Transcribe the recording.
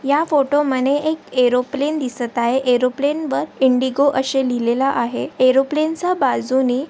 या फोटोमध्ये एक ऐरोप्लेन दिसत आहे एरोप्लेनवर इंडिगो असे लिहिलेले आहे एरोप्लेनच्या बाजूनी --